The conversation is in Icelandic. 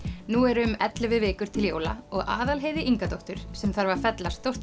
nú eru um ellefu vikur til jóla og Aðalheiði Ingadóttur sem þarf að fella stórt